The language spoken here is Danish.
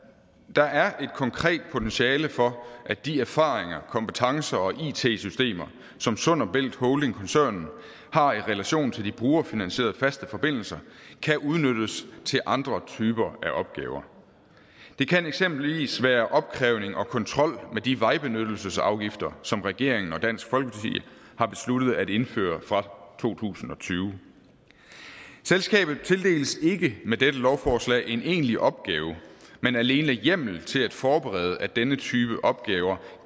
der er et konkret potentiale for at de erfaringer kompetencer og it systemer som sund bælt holding koncernen har i relation til de brugerfinansierede faste forbindelser kan udnyttes til andre typer af opgaver det kan eksempelvis være opkrævning og kontrol med de vejbenyttelsesafgifter som regeringen og dansk folkeparti har besluttet at indføre fra to tusind og tyve selskabet tildeles ikke med dette lovforslag en egentlig opgave men alene hjemmel til at forberede at denne type opgaver